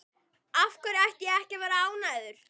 Af hverju ætti ég ekki að vera ánægður?